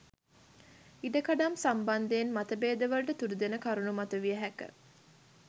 ඉඩකඩම් සම්බන්ධයෙන් මතභේදවලට තුඩුදෙන කරුණු මතුවිය හැක